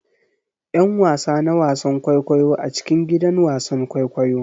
'Yan wasa na wasan kwaikwayo a cikin gidan wasan kwaikwayo.